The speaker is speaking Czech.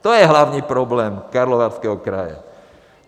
To je hlavní problém Karlovarského kraje.